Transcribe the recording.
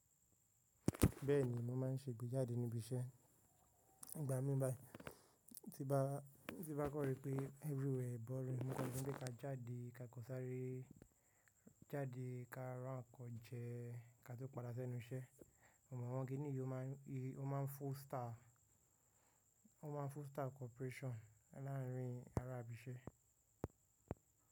Bẹ́ẹ̀ni, mo máa ń ṣe ìgbéjáde níbi iṣẹ́. Nigbà mí báyi, tí bá, tí bá kọ̀ri pé everywhere boring, mo kan le wipe ká jáde ká kan sáré jáde ká rà nkan jẹ ká tó padà sẹ́nu iṣẹ́. Mo mọ̀ awọ́n kí nìyí o máa ń, o máa ń foster, o máa ń foster cooperation láàárín ará ibi iṣẹ́.